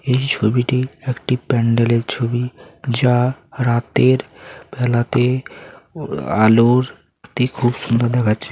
এই ছবিটি একটি প্যান্ডেলের ছবি যা রাতের বেলাতে আলোর তে খুব সুন্দর দেখাচ্ছে।